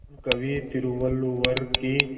महान कवि तिरुवल्लुवर की